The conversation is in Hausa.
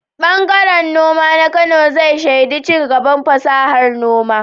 Ɓangaren noma na Kano zai shaida ci gaban fasahar noma.